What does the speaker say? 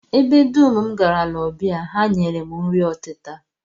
Ebe dum m garala ọbịa, ha nyere m nri ọtịta